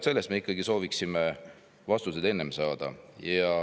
Me ikkagi sooviksime vastuseid varem saada.